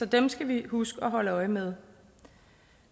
dem skal vi huske at holde øje med